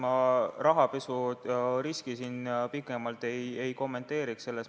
Ma rahapesu riske siin pikemalt ei kommenteeriks.